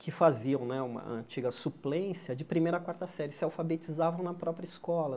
que faziam né uma antiga suplência de primeira a quarta série, se alfabetizavam na própria escola.